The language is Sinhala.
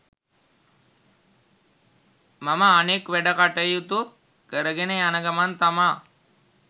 මම අනෙක් වැඩ කටයුතු කරගෙන යන ගමන් තමා